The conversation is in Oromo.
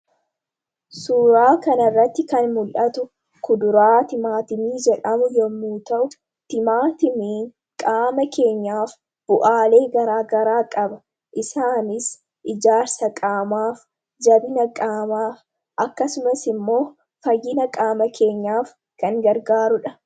Suuraa kanarratti kan mul'atu kuduraa timaatimii jedhamu yommuu ta'u. Timaatimiin qaama keenyaaf bu'aalee gagaraa qaba isaanis; ijaarsa qaamaaf, jabina qaamaaf ,akkasumas immoo fayyina qaama keenyaaf kan gargaaruudha.